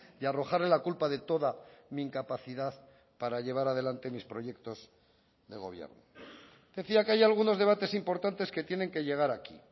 y arrojarle la culpa de toda mi incapacidad para llevar adelante mis proyectos de gobierno decía que hay algunos debates importantes que tienen que llegar aquí